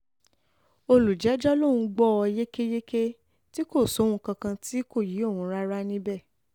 olùjẹ́jọ́ lòún gbọ́ ọ yékéyéké tí kò sóhun kankan tí um kò yé òun rárá um níbẹ̀